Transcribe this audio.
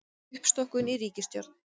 Uppstokkun í ríkisstjórn